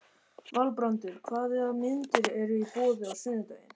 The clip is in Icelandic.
Valbrandur, hvaða myndir eru í bíó á sunnudaginn?